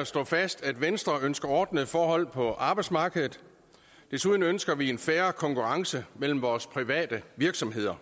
at slå fast at venstre ønsker ordnede forhold på arbejdsmarkedet desuden ønsker vi en fair konkurrence mellem vores private virksomheder